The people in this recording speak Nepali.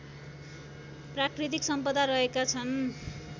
प्राकृतिक सम्पदा रहेका छन्